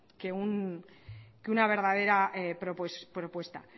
que una verdadera propuesta